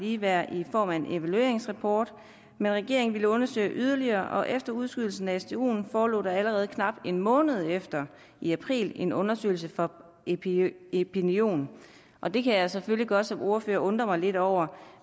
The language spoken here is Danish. ligeværd i form af en evalueringsrapport men regeringen ville undersøge det yderligere og efter udskydelsen af stuen forelå der allerede knap en måned efter i april en undersøgelse fra epinion epinion og det kan jeg selvfølgelig godt som ordfører undre mig lidt over